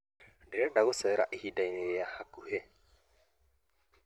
Ndĩrenda gũthiĩ gũcera ihindainĩ rĩ hakuhĩ